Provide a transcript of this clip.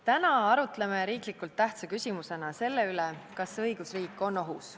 Täna arutleme riiklikult tähtsa küsimusena selle üle, kas õigusriik on ohus.